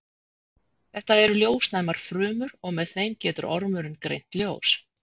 Þetta eru ljósnæmar frumur og með þeim getur ormurinn greint ljós.